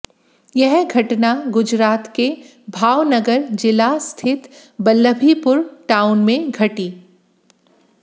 यह घटना गुजरात के भावनगर जिला स्थित वल्लभीपुर टाउन में घटी